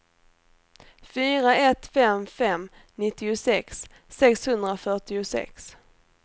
fyra ett fem fem nittiosex sexhundrafyrtiosex